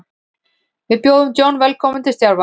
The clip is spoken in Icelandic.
Við bjóðum John velkominn til starfa.